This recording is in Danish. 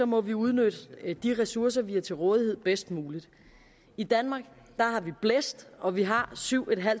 må vi udnytte de ressourcer vi har til rådighed bedst muligt i danmark har vi blæst og vi har syv